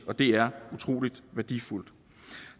og det er utrolig værdifuldt